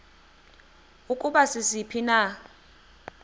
ukuba sisiphi na